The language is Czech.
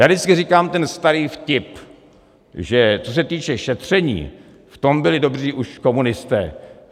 Já vždycky říkám ten starý vtip, že co se týče šetření, v tom byli dobří už komunisté.